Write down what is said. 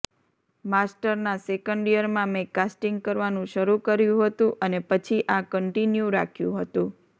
માસ્ટરના second યરમાં મેં casting કરવાનું શરૂ કર્યું હતું અને પછી આ કન્ટીન્યૂ રાખ્યું હતું